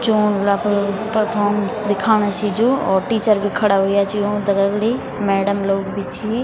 जोल अपर परफॉरमेंस दिखाणा छिन जो और टीचर भी खड़ा हुया छी ऊंक दगड़ी मैडम लोग भी छी --